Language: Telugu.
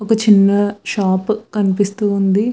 ఒక చిన్న షాప్ కనిపిస్తూ ఉంది.